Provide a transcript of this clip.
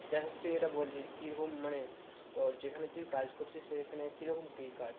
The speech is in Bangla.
যাইহোক তুই এটা বল যে কিরকম মানে তোর যেখানে তুই কাজ করছিস সেখানে কি রকম কি কাজ?